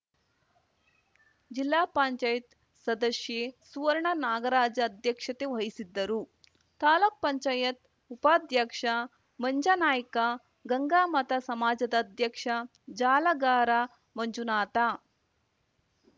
ಜಿಪಂ ಸದಸ್ಯೆ ಸುವರ್ಣ ನಾಗರಾಜ ಅಧ್ಯಕ್ಷತೆ ವಹಿಸಿದ್ದರು ತಾಲೂಕು ಪಂಚಾಯತ್ ಉಪಾಧ್ಯಕ್ಷ ಮಂಜನಾಯ್ಕ ಗಂಗಾಮತ ಸಮಾಜದ ಅಧ್ಯಕ್ಷ ಜಾಲಗಾರ ಮಂಜುನಾಥ